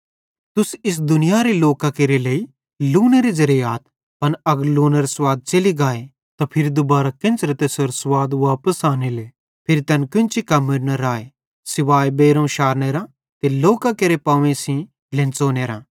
तुस इस दुनियारे लोकां केरे लेइ लूनेरे ज़ेरे आथ पन अगर लूनेरो स्वाद च़ेलि गाए त फिरी दुबारां केन्च़रे तैसेरो स्वाद वापस आनेले फिरी तैन कोन्ची कम्मेरू न राए सुवाए बेइरोवं शारनेरां ते लोकां केरे पांवेइं सेइं ढ्लेन्च़ोनेरां